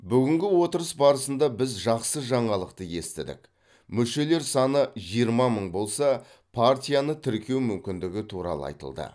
бүгінгі отырыс барысында біз жақсы жаңалықты естідік мүшелері саны жиырма мың болса партияны тіркеу мүмкіндігі туралы айтылды